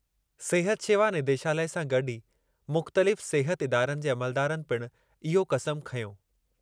सिहत शेवा निदेशालय सां गॾु ई मुख़्तलिफ़ सिहर इदारनि जे अमलदारनि पिणु इहो क़समु खंयो।